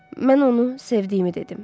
Mən onu sevdiyimi dedim.